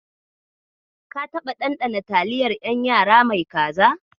Ka taɓa ɗanɗana taliyar ƴan yara mai kaza?